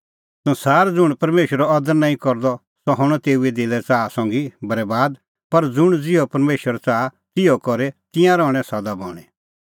संसार ज़ुंण परमेशरो अदर नांईं करदअ सह हणअ तेऊए दिले च़ाहा संघी बरैबाद पर ज़ुंण ज़िहअ परमेशर च़ाहा तिहअ करे तिंयां रहणैं सदा बणीं